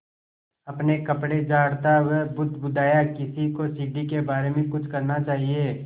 अपने कपड़े झाड़ता वह बुदबुदाया किसी को सीढ़ी के बारे में कुछ करना चाहिए